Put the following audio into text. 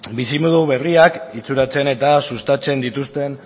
bizimodu berriak itxuratzen eta sustatzen dituzten